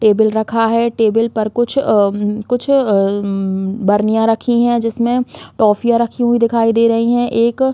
table रखा है table पर कुछ अम कुछ अम बर्नियाँ रखी है जिसमें टोफियाँ रखी हुई दिखाई दे रही है एक--